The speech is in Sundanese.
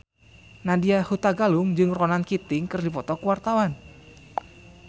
Nadya Hutagalung jeung Ronan Keating keur dipoto ku wartawan